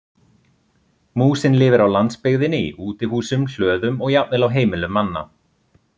Músin lifir á landsbyggðinni í útihúsum, hlöðum og jafnvel á heimilum manna.